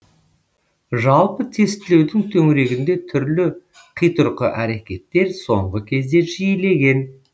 жалпы тестілеудің төңірегінде түрлі қитұрқы әрекеттер соңғы кезде жиілеген